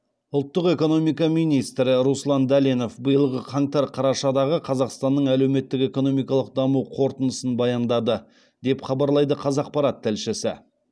ұлттық экономика министрі руслан дәленов биылғы қаңтар қарашадағы қазақстанның әлеуметтік экономикалық даму қорытындысын баяндады деп хабарлайды қазақпарат тілшісі